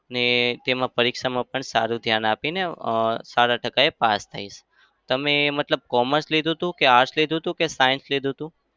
ને તેમાં પરીક્ષામાં પણ સારું ધ્યાન આપીને અમ સારા ટકા એ pass થઈશ. તમે મતલબ commerce લીધું હતું કે arts લીધું હતું કે science લીધું હતું?